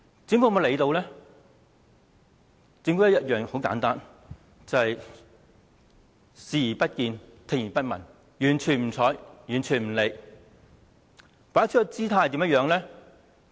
政府採取的方法很簡單，便是視而不見、聽而不聞，完全不理不睬。